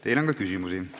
Teile on ka küsimusi.